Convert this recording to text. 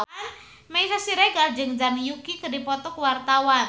Meisya Siregar jeung Zhang Yuqi keur dipoto ku wartawan